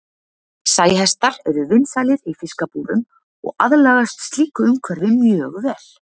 Sæhestar eru vinsælir í fiskabúrum og aðlagast slíku umhverfi mjög vel.